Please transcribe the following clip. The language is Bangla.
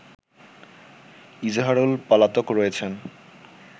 ইজাহারুল পলাতক রয়েছেন